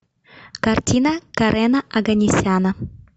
картина карена оганесяна